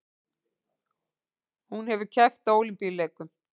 Hún hefur keppt á Ólympíuleikum